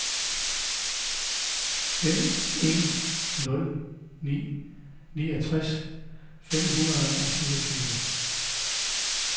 fem en nul ni niogtres fem hundrede og syvogtyve